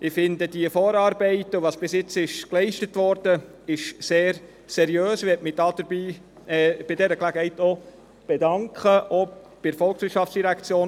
Ich finde die Vorarbeiten und was bisher geleistet wurde sehr seriös, und ich möchte mich bei dieser Gelegenheit bei der VOL und auch bei der Universität bedanken.